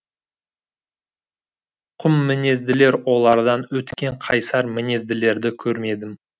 құммінезділер олардан өткен қайсар мінезділерді көрмедім